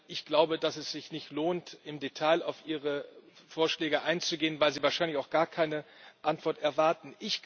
Ich glaube, dass es sich nicht lohnt, im Detail auf Ihre Vorschläge einzugehen, weil Sie wahrscheinlich auch gar keine Antwort erwarten.